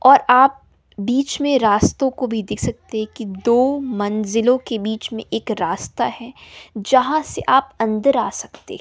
और आप बीच में रास्तो को भी देख सकते है की दो मंजिलों के बीच में एक रास्ता है जहां से आप अंदर आ सकते--